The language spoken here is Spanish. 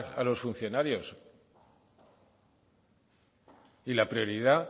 a los funcionarios y la prioridad